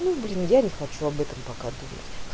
ну блин я не хочу об этом пока думать